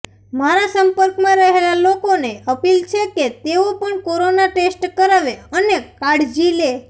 મારા સંપર્કમાં રહેલા લોકોને અપીલ છે કે તેઓ પણ કોરોના ટેસ્ટ કરાવે અને કાળજી લે